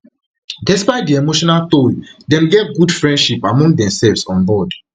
despite di emotional toll dem get good friendship among demsefs onboard